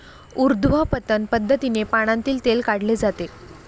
उर्ध्वपतन पद्धतीने पानांतील तेल काढले जाते.